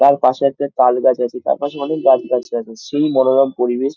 তার পাশে একটা তাল গাছ আছে | তার পাশে অনেক গাছ গাছড়া আছে | সেই মনোরম পরিবেশ |